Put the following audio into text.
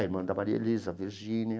A irmã da Maria Elisa, a Virgínia,